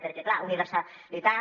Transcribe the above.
perquè clar universalitat